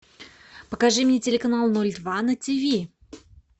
покажи мне телеканал ноль два на тв